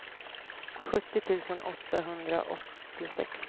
sjuttio tusen åttahundraåttiosex